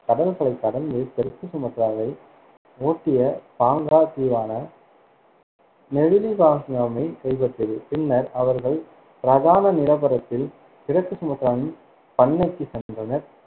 கடல்களைக் கடந்து தெற்கு சுமத்ராவை ஓட்டிய பாங்கா தீவான மெவிலிபாங்காமைக் கைப்பற்றியது. பின்னர் அவர்கள் பிரதான நிலப்பரப்பில் கிழக்கு சுமத்ராவின் பண்ணைக்கு சென்றனர்,